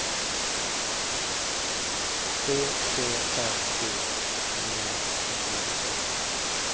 tre tre fem sju tjugonio sexhundranittioåtta